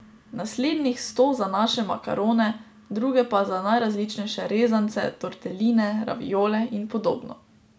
Naslednjih sto za naše makarone, druge pa za najrazličnejše rezance, torteline, raviole in podobno.